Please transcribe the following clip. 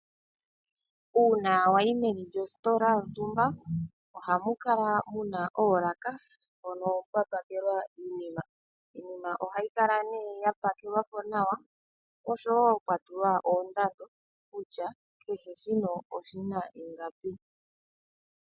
Uuna wayi meni lyositola yontumba, ohamu kala muna oolaka mpono pwa pakelwa iinima. Iinima ohayi kala nee ya pakelwapo nawa oshowo pwa tulwa oondando kutya kehe shimwe oshina ingapi.